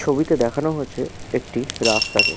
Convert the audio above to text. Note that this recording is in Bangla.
ছবিতে দেখানো হয়েছে একটি রাস্তা কে।